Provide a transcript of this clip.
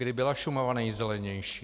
Kdy byla Šumava nejzelenější?